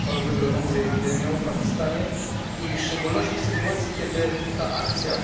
Choroby grożącej epidemią w Pakistanie i w szczególności w sytuacji, kiedy ta akcja,